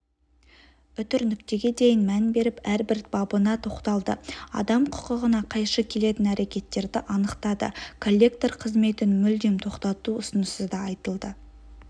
үтір нүктеге дейін мән беріп әрбір бабына тоқталды адам құқығына қайшы келетін әрекеттерді анықтады коллектор қызметін мүлдем тоқтату ұсынысы да айтылды